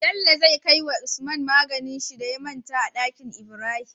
Bello zai kawai wa usman maganin shi da ya manta a danki Ibrahim